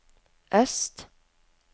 øst